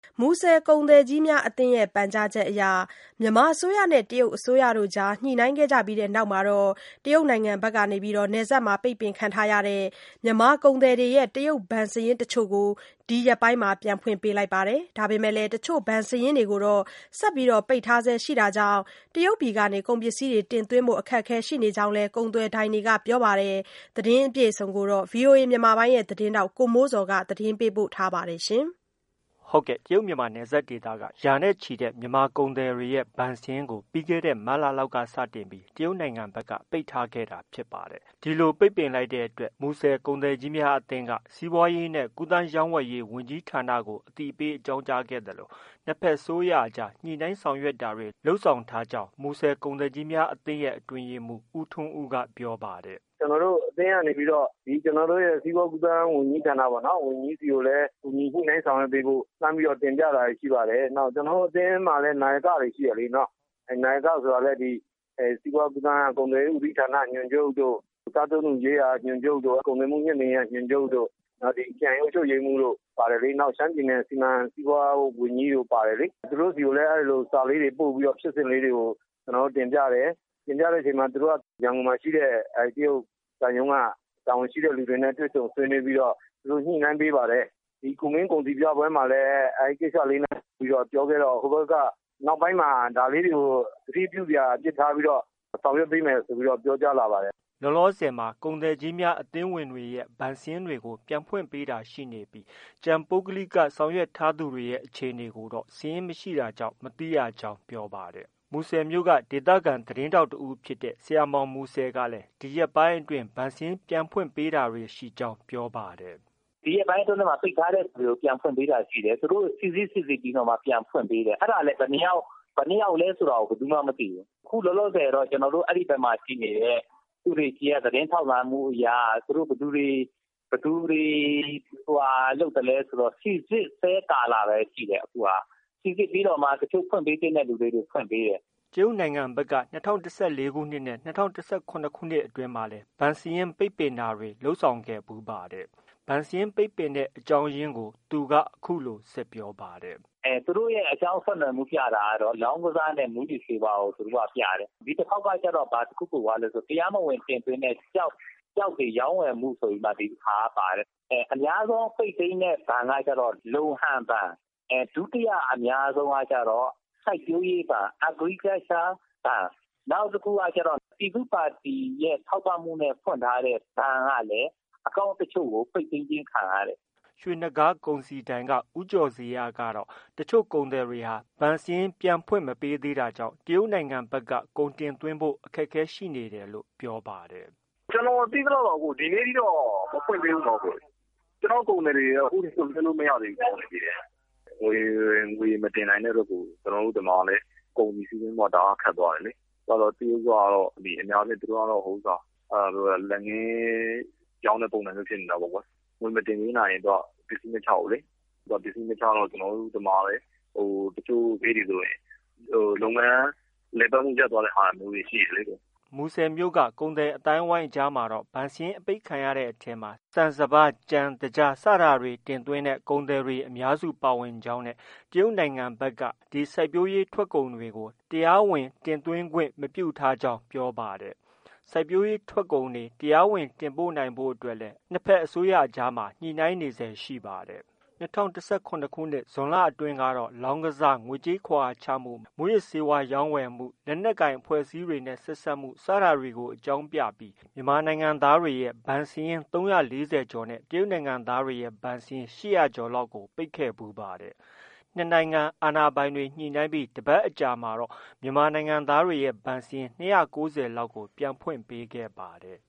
မူဆယ် ကုန်သည်ကြီးများ အသင်းရဲ့ ပန့်ကြားချက်အရ မြန်မာအစိုးရနဲ့ တရုတ်အစိုးရအကြား ညှိနှိုင်းခဲ့တဲ့နောက်မှာ ပိတ်ပင်ခံထားရတဲ့ မြန်မာကုန်သည်တွေရဲ့ တရုတ်ဘဏ်စာရင်းတချို့ကို ဒီရက်ပိုင်းမှာ ပြန်ဖွင့်ပေးတာတွေ ရှိနေပါတယ်။ ဒါပေမဲ့ တချို့ ဘဏ်စာရင်းတွေကို ဆက်လက် ပိတ်ပင်ထားဆဲရှိတာကြောင့် တရုတ်ပြည်က ကုန်ပစ္စည်းတင်သွင်းဖို့ အခက်အခဲရှိနေကြောင်းလည်း ကုန်သွယ်ဒိုင်တွေက ပြောပါတယ်။ ဒီသတင်းကိုတော့ ဗွီအိုအေမြန်မာပိုင်းရဲ့သတင်းထောက် ကိုမိုးဇော်က တင်ပြထားပါတယ်။ တရုတ်မြန်မာနယ်စပ်ဒေသက ရာနဲ့ ချီတဲ့ မြန်မာကုန်သည်တွေရဲ့ ဘဏ်စာရင်းကို ပြီးခဲ့တဲ့ မတ်လလောက်က စတင်ပြီး တရုတ်နိုင်ငံဘက်က ပိတ်ထားခဲ့တာပါ။ ဒီလိုပိတ်ပင်ပြီးနောက်မှာ မူဆယ်ကုန်သည်ကြီးများအသင်းက စီးပွားရေးနဲ့ ကူးသန်းရောင်းဝယ်ရေး ဝန်ကြီးဌာနကို အသိပေးအကြောင်းကြားခဲ့သလို နှစ်ဘက်အစိုးရအကြား ညှိနှိုင်းတာတွေ လုပ်ဆောင်ထားကြောင်း မူဆယ်ကုန်သည်ကြီးများအသင်းရဲ့ အတွင်းရေးမှုး ဦးထွန်းဦးက ပြောပါတယ်။ “ ကျနော်တို့ အသင်းကနေပြီးတော့ ကျနော်တို့ စီးပွားကူးသန်းဝန်ကြီးဌာနပေါ့။ ဝန်ကြီးဆီကိုလည်း ကူညီ ညှိနှိုင်းဆောင်ရွက်ပေးဖို့ လှမ်းပြီးတော့ တင်ပြတာတွေ ရှိပါတယ်။ ကျနော်တို့အသင်းမှာလည်း နာယကတွေ ရှိတယ်လေ။ နာယကဆိုတာလည်း စီးပွားကူးသန်းက ကုန်သွယ်ရေး ဦးစီးဌာနက ညွှန်ချုပ်တို့၊ စားသုံးမှုရေးရာက ညွှန်ချုပ်တို့၊ ကုန်သွယ်မှုမြှင့်တင်ရေးက ညွှန်ချုပ်တို့၊ နောက် ခရိုင်အုပ်ချုပ်ရေးမှုးတို့ ပါတယ်လေ။ နောက် ရှမ်းပြည်နယ် စီမံစီးပွားဝန်ကြီးတို့ပါတယ်လေ။ သူတို့ဆီကိုလည်း စာလေးတွေ ပို့ပြီး ဖြစ်စဉ်လေးတွေကို တင်ပြတယ်။ သူတို့ ရန်ကုန်မှာရှိတဲ့ တရုတ် သံရုံးက တာဝန်ရှိတဲ့လူတွေနဲ့ တွေ့ဆုံဆွေးနွေးပြီးတော့ ညှိနှိုင်းပေးပါတယ်။ ဒီကူမင်းကုန်စည်ပြပွဲမှာလည်း အဲဒီကိစ္စလေးနဲ့ပတ်သက်ပြီးပြောခဲ့တော့ ဟိုဘက်က နောက်ပိုင်းမှာ ဒါလေးတွေကို သတိပြုစရာအဖြစ် ထားပြီးတော့ ဆောင်ရွက်ပေးမယ်လို့ ပြောကြားလာပါတယ်။ ” လောလောဆည်မှာ ကုန်သည်ကြီးများ အသင်းဝင်တွေရဲ့ ဘဏ်စာရင်းတွေကို ပြန်ဖွင့်ပေးတာရှိနေပြီး ကျန် ပုဂ္ဂလိက ဆောင်ရွက်ထားသူတွေရဲ့ အခြေအနေတွေကိုတော့ စာရင်းမရှိတာကြောင့် မသိကြောင်း ပြောပါတယ်။ မူဆယ်မြို့က ဒေသခံ သတင်းထောက် တဦးဖြစ်တဲ့ ဆရာမောင် ကလည်း ဒီရက်ပိုင်းအတွင်း ဘဏ်စာရင်း ပြန်ဖွင့်တာတွေ ရှိကြောင်း ပြောပါတယ်။ “ ဒီရက်ပိုင်းအတွင်း ပိတ်ထားတဲ့ဟာတွေကို ပြန်ဖွင့်ပေးတာတွေရှိတယ်။ သူတို့စိစစ် စိစစ်ပြီး ပြန်ဖွင့် ပေးတာရှိတယ်။ ဘယ်နှစ်ယောက်လည်း ဆိုတာ ဘယ်သူမှ မသိဘူး။ အခုလောလောဆည်တော့ အဲဒီဘက်မှာ ရှိနေတဲ့သူတွေဆီက သတင်းထောက်လှမ်းမှုအရ ဘယ်သူတွေ ဟိုဟာလုပ်သလဲဆိုတော့ စီစစ်ဆဲကာလပဲ ရှိတယ်။ စိစစ်ပြီးတော့မှ တချို့ ဖွင့်ပေးသင့်သူတွေကို ဖွင့်ပေးတယ်။ ” တရုတ်နိုင်ငံဖက်က ၂၀၁၄နဲ့ ၂၀၁၇ခုနှစ်တွေအတွင်းမှာလည်း ဘဏ်စာရင်းတွေ ပိတ်တာတွေ လုပ်ဆောင်ခဲ့ဘူးပါတယ်။ ဘဏ်စာရင်းပိတ်တဲ့ အကြောင်းရင်းကို ဆက်ပြောတာက - “ သူတို့က အကြောင်းဆက်နွယ်မှုပြတာကတော့ လောင်းကစားနဲ့ မူးယစ်ဆေးကို အဓိက ပြတယ်။ ဒီတခေါက်ကကျတော့ ဘာတခုပိုသွားလည်းဆို တရားမဝင်တင်သွင်းတဲ့ ကျောက်တွေ ရောင်းဝယ်မှုဆိုပြီး ဒီတခါက ပါတယ်။ အများဆုံး ပိတ်သိမ်းတဲ့ဘဏ်ကကျ လုံဟန်ဘဏ်၊ ဒုတိယအများဆုံးကကျ စိုက်ပျိုးရေးဘဏ် Agriculture Bank ၊ နောက်တခုကကျတော့ ပြည်သူ့ပါတီရဲ့ ထောက်ပံ့မှုနဲ့ ဖွင့်ထားတဲ့ ဘဏ်ကလည်း account တချို့ကို ပိတ်သိမ်းခြင်း ခံရတယ်။ ” ရွှေနဂါးကုန်စည်ဒိုင်ပိုင်ရှင် ဦးကျော်ဇေယျကတော့ တချို့ကုန်သည်တွေဟာ ဘဏ်စာရင်း ပြန်ဖွင့်မရသေးတာကြောင့် တရုတ်ဖက်က ကုန်တင်သွင်းဖို့ အခက်အခဲဖြစ်နေတယ်လို့ ပြောပါတယ်။ “ ကျနေ်ာသိသလောက်တော့ ဒီကနေ့ထိ မဖွင့်သေးဘူး။ ကျနော့်ကုန်သည်တွေတော့ အခုထိ ကုန်တင်လို့ မရသေးဘူး။ ငွေမတင်နိုင်တဲ့အတွက် ကုန်စည်စီးဆင်းမှုက ခက်သွားတယ်လေ။ အခုကတော့ တရုတ်ကတော့ အများအားဖြင့် လက်ငင်းရောင်းတဲ့ပုံစံမျိုးဖြစ်သွားတယ်လေ။ ငွေမတင်သွင်းနိုင်ရင် ပစ္စည်းမချဘူးလေ။ ပစ္စည်းမချတော့ ကျနော်တို့ဒီမှာ တချို့ ဂိတ်တွေဆို လုပ်ငန်းလည်ပတ်မှု့ ရပ်သွားတာတွေ ရှိတယ်လေ။” မူဆယ်မြို့က ကုန်သည်အသိုင်းအဝိုင်းအကြားမှာတော့ ဘဏ်စာရင်း အပိတ်ခံထားရတဲ့အထဲမှာ ဆန်စပါး၊ ကြံ၊သကြား ကုန်သည်တွေအများစုပါဝင်ကြောင်းနဲ့ တရုတ်နိုင်ငံဖက်က ဒီစိုက်ပျိုးရေးထွက်ကုန်တွေကို တရားဝင်တင်သွင်းခွင့် မပြုထားကြောင်းပြောပါတယ်။ စိုက်ပျိုးရေးထွက်ကုန်တွေ တရားဝင်တင်ပို့ဖို့အတွက်လည်း ညှိနှိုင်းနေဆဲရှိနေပါတယ်။ ၂၀၁၇ခုနှစ် ဇွန်လအတွင်းကတော့ လောင်းကစား၊ ငွေကြေးခဝါချမှု၊မူးယစ်ဆေးဝါးရောင်းဝယ်မှု၊ လက်နက်ကိုင် အဖွဲ့အစည်းတွေနဲ့ဆက်စပ်မှု စတာတွေကို အကြောင်းပြပြီး မြန်မာနိုင်ငံသားတွေရဲ့ ဘဏ်စာရင်း ၃၄၀ကျော်နဲ့ တရုတ် နိုင်ငံသားတွေရဲ့ ဘဏ်စာရင်း ၈၀၀ကျော်လောက် ပိတ်ခဲ့ဖူးပါတယ်။ နှစ်နိုင်ငံအာဏာပိုင်တွေ ညှိနှိုင်းပြီးတပတ်အကြားမှာတော့ မြန်မာနိုင်ငံသားတွေရဲ့ ဘဏ်စာရင်း ၂၉၀လောက်ကို ပြန်ဖွင့်ပေးခဲ့ပါတယ်။